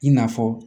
I n'a fɔ